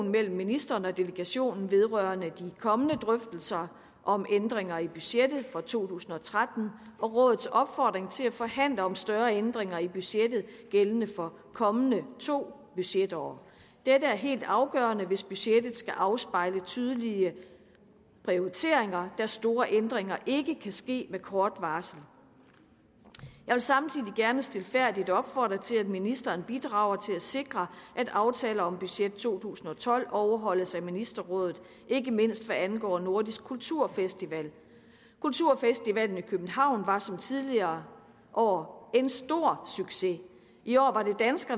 mellem ministeren og delegationen vedrørende de kommende drøftelser om ændringer i budgettet for to tusind og tretten og rådets opfordring til at forhandle om større ændringer i budgettet gældende for de kommende to budgetår dette er helt afgørende hvis budgettet skal afspejle tydelige prioriteringer da store ændringer ikke kan ske med kort varsel jeg vil samtidig gerne stilfærdigt opfordre til at ministeren bidrager til at sikre at aftalen om budget to tusind og tolv overholdes af ministerrådet ikke mindst hvad angår nordisk kulturfestival kulturfestivalen i københavn var som tidligere år en stor succes i år